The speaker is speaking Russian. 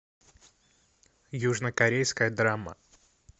южнокорейская драма